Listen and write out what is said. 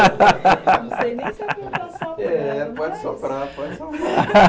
Não sei nem se era para mim estar soprando. É, pode soprar, pode soprar